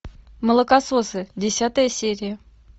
молокососы десятая серия